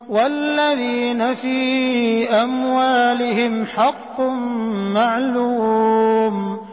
وَالَّذِينَ فِي أَمْوَالِهِمْ حَقٌّ مَّعْلُومٌ